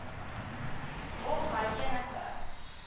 of hy enige